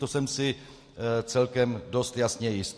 To jsem si celkem dost jasně jist.